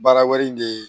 Baara wɛrɛ in de ye